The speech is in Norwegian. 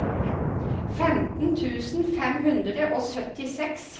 femten tusen fem hundre og syttiseks